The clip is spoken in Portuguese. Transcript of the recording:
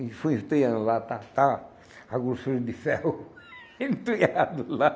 E fui enterrando lá, tá, tá, a grossura de ferro enterrado lá.